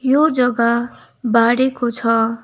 यो जग्गा बारेको छ।